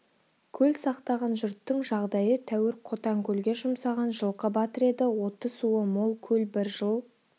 көл сақтаған жұрттың жағдайы тәуір қотанкөлге жұмсаған жылқы батыр еді оты суы мол көл бір жыл